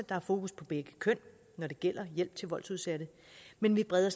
er fokus på begge køn når det gælder hjælp til voldsudsatte men vi breder